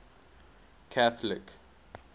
catholic